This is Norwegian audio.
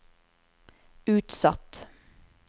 utsatt